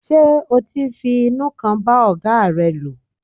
Ṣé o ti ń fi inú kan bá ọ̀gáa rẹ lò.